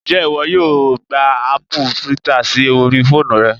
Ǹjẹ́ ìwọ yóò gba aàpù twitter sí orí fóònù rẹ?